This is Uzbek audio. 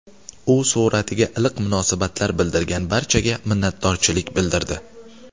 U suratiga iliq munosabat bildirgan barchaga minnatdorchilik bildirdi.